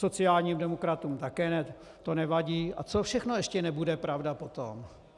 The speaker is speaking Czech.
Sociálním demokratům také to nevadí, a co všechno ještě nebude pravda potom?